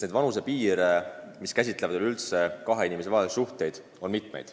Vanusepiire, mis puudutavad kahe inimese vahelisi suhteid, on ju kehtestatud mitmeid.